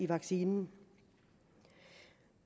vaccinen